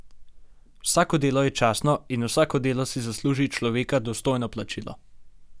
Vsako delo je častno in vsako delo si zasluži človeka dostojno plačilo!